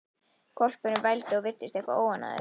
Hvolpurinn vældi og virtist eitthvað óánægður.